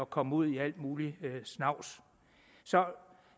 komme ud i al mulig snavs